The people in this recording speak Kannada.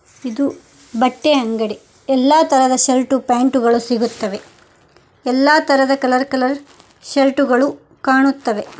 ಇದು ಬಟ್ಟೆ ಅಂಗಡಿ ಎಲ್ಲಾ ತರದ ಸರ್ಟು ಪ್ಯಾಂಟು ಗಳು ಸಿಗುತ್ತವೆ ಎಲ್ಲಾ ತರದ ಕಲರ್ ಕಲರ್ ಶರ್ಟು ಗಳು ಕಾಣುತ್ತವೆ.